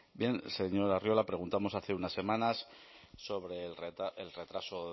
bien señor arriola preguntamos hace unas semanas sobre el retraso